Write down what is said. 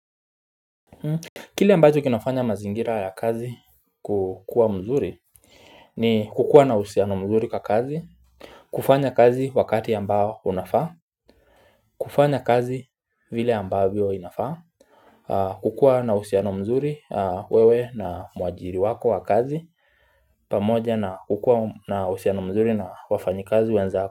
Kile ambacho kinafanya mazingira ya kazi kukua mzuri ni kukua na uhusiano mzuri kwa kazi kufanya kazi wakati ambao unafaa kufanya kazi vile ambavyo inafaa kukua na uhusiano mzuri wewe na mwajiri wako wa kazi pamoja na kukua na uhusiano mzuri na wafanyi kazi wenzako.